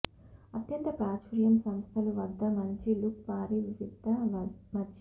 అత్యంత ప్రాచుర్యం సంస్థలు వద్ద మంచి లుక్ భారీ వివిధ మధ్య